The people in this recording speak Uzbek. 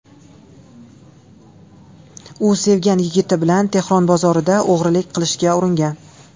U sevgan yigiti bilan Tehron bozorida o‘g‘rilik qilishga uringan.